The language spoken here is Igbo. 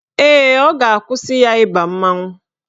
Ee, ọ ga-akwụsị ya ịba mmanwụ